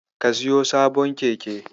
Ka siyo sabon keke.